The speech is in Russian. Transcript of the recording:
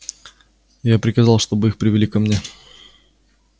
я приказал чтобы их привели ко мне